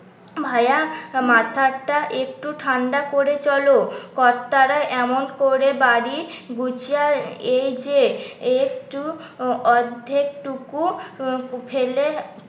ভাইয়া মাথাটা একটু ঠাণ্ডা করে চলো। কত্তারা এমন করে বাড়ি গুছিয়ে এই যে একটু অর্ধেক টুকু ফেলে